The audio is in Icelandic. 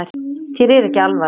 Þér er ekki alvara